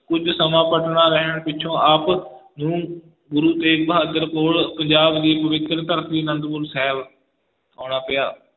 ਕੁੱਝ ਸਮਾਂ ਪਟਨਾ ਰਹਿਣ ਪਿਛੋਂ ਆਪ ਨੂੰ ਗੁਰੂ ਤੇਗ ਬਹਾਦਰ ਕੋਲ ਪੰਜਾਬ ਦੀ ਪਵਿੱਤਰ ਧਰਤੀ ਆਨੰਦਪੁਰ ਸਾਹਿਬ ਆਉਣਾ ਪਿਆ,